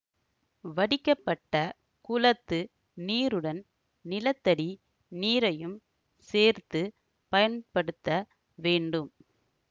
வடிக்கப்பட்ட குளத்து நீருடன் நிலத்தடி நீரையும் சேர்த்து பயன்படுத்த வேண்டும்